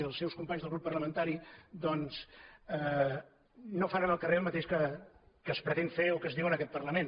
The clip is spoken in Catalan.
i dels seus companys del grup parlamentari doncs no fan en el carrer el mateix que es pretén fer o que es diu en aquest parlament